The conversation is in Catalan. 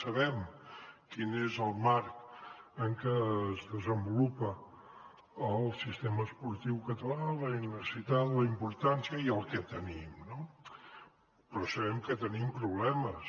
sabem quin és el marc en què es desenvolupa el sistema esportiu català la necessitat la importància i el que tenim no però sabem que tenim problemes